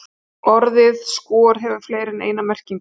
Orðið skor hefur fleiri en eina merkingu.